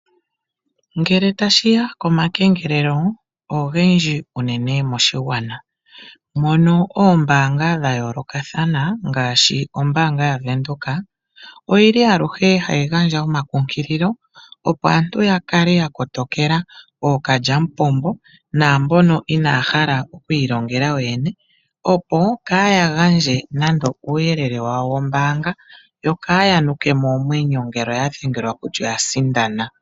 Ngele tashi ya komakengelelo, ogendji uenne moshigwana, mono oombaanga dha yoolokathana ngaashi ombaanga yaVenduka, oyi li aluhe hayi gandja omakunkililo, opo aantu ya kale ya kotokela ooKalyamupombo naambono inaaya kala okwiilongela yoyene, opo kaaya gandje nando uuyelele wawo wombaanga, yo kaaya nuke mo oomwenyo ngele oya dhengelwa kutya oya sindana.